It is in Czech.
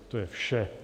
To je vše.